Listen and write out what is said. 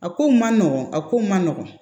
A kow man nɔgɔn a ko ma nɔgɔn